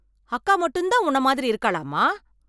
அக்கா மட்டும் தான் உன்னை மாதிரி இருக்காளா அம்மா ?